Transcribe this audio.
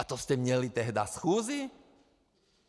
A to jste měli tehdy schůzi?